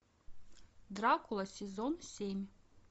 дракула сезон семь